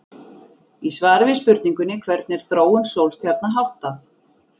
Í svari við spurningunni Hvernig er þróun sólstjarna háttað?